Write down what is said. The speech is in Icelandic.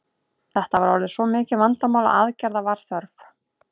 Þetta var orðið svo mikið vandamál að aðgerða var þörf.